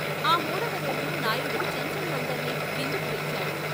ఆ మూడవ రోజు నాయుడు చెంచుల్నందర్నీ విందుకు పిలిచాడు.